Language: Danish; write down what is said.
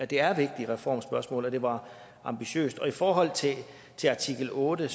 det er vigtige reformspørgsmål og det var ambitiøst i forhold til artikel otte